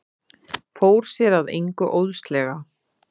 Fór sér að engu óðslega.